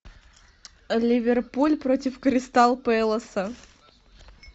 ливерпуль против кристал пэласа